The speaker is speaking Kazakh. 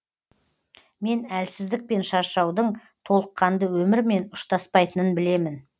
мен әлсіздік пен шаршаудың толыққанды өмірмен ұштаспайтынын білемін